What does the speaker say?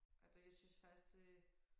Ej det jeg synes faktisk det